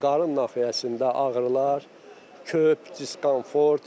Qarın nahiyəsində ağrılar, köp, diskonfort.